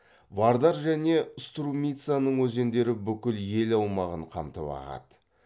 вардар және струмицаның өзендері бүкіл ел аумағын қамтып ағады